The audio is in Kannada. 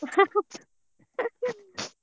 .